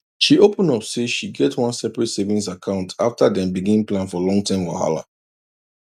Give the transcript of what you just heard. she open up say she get one separate savings account after dem begin plan for long term whahala